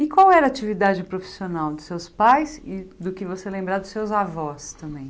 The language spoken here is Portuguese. E qual era a atividade profissional dos seus pais e do que você lembrar dos seus avós também?